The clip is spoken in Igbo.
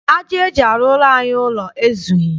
Aja eji arụrụ anyị ụlọ ezughị.